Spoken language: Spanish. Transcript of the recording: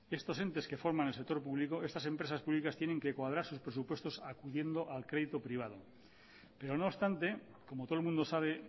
estos entes que forman el sector público estas empresas públicas tienen que cuadrar sus presupuestos acudiendo al crédito privado pero no obstante como todo el mundo sabe